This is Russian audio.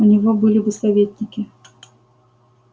у него были бы советники